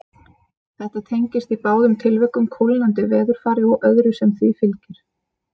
Þetta tengist í báðum tilvikum kólnandi veðurfari og öðru sem því fylgir.